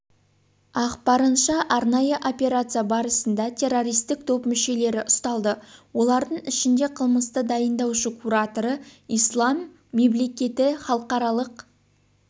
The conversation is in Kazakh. ақпарынша арнайы операция барысында террористік топ мүшелері ұсталды олардың ішінде қылмысты дайындаушы кураторы ислам мемлекеті халықаралық